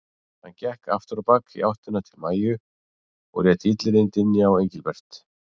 Hann gekk aftur á bak í áttina til Maju og lét illyrðin dynja á Engilbert.